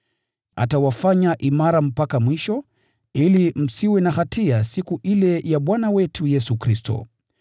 Atawafanya imara mpaka mwisho, ili msiwe na hatia siku ile ya Bwana wetu Yesu Kristo.